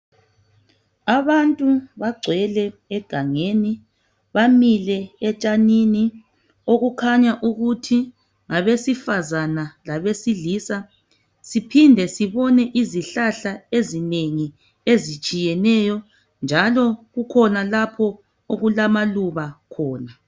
Abantu bagcwele egangeni bamile etshanini okukhanya ukuthi ngabesifazana labesilisa siphinde sibone izihlahla ezinengi ezitshiyeneyo njalo kukhona lapho okulamaluba khona